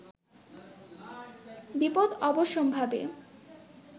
বিপদ অবশ্যম্ভাবী